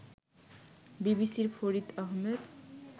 বিবিসির ফরিদ আহমেদ